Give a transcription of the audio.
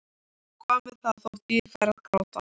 Og hvað með það þótt ég færi að gráta?